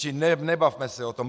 Čili nebavme se o tom.